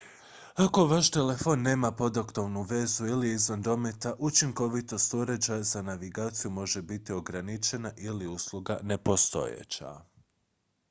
ako vaš telefon nema podatkovnu vezu ili je izvan dometa učinkovitost uređaja za navigaciju može biti ograničena ili usluga nepostojeća